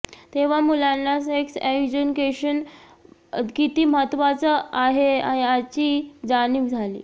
तेव्हा मुलांना sex education किती महत्त्वाचं आहे याची जाणीव झाली